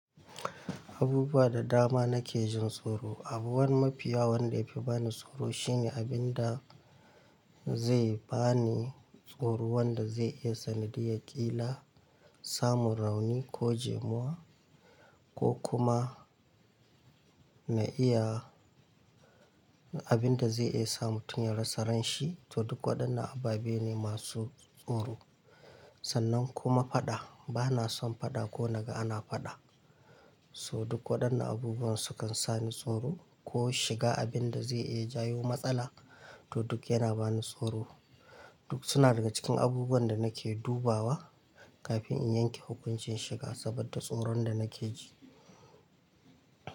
Abubuwa da dama na ke jin tsoro. Abu wani mafi yawa wanda ya fi bani tsoro shine abinda zai bani tsoro wanda zai iya sanadiyar ƙila samun rauni ko jimuwa ko kuma na iya abinda zai iya sa mutum ya rasa ranshi. To duk waɗannan ababe ne masu tsoro. Sannan kuma faɗa, bana son faɗa ko naga ana faɗa. Toh duk waɗannan abubuwan su kan sa ni tsoro ko shiga abinda zai iya jawo matsala to duk yana bani tsoro. Duk suna daga cikin abubuwan da nake dubawa kafin in yanke hukuncin shiga saboda tsoron da nake ji.